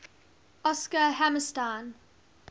oscar hammerstein